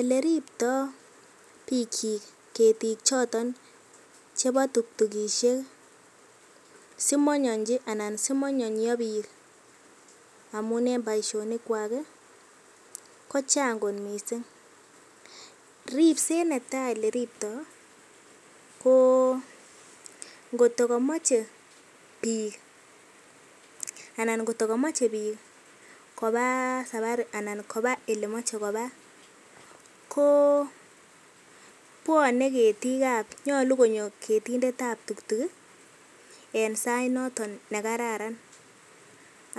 Eleripto bikyik ketik choton chebo tuktukishek simonyonychi anan simonyonyio biik amun en boishonikwak kochang kot mising, ripset netai eleriptoi ko ngot kokomoche biik anan kot ko komoche biik kobaa sabari anan kobaa elemoche kobaa ko bwonee ketikab, nyolu konyo ketindetab tuktuk en sait noton nekararan